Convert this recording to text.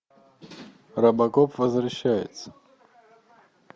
робокоп возвращается